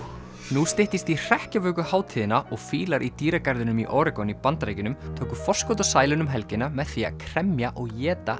nú styttist í Hrekkjavökuhátíðina og fílar í dýragarðinum í Oregon í Bandaríkjunum tóku forskot á sæluna um helgina með því að kremja og éta